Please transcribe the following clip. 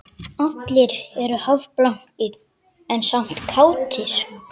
Allir eru hálfblankir en samt kátir